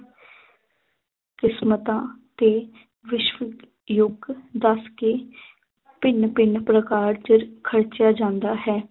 ਕਿਸਮਤਾਂ ਤੇ ਵਿਸ਼ਵ ਯੁੱਗ ਦੱਸ ਕੇ ਭਿੰਨ ਭਿੰਨ ਪ੍ਰਕਾਰ 'ਚ ਖਰਚਿਆ ਜਾਂਦਾ ਹੈ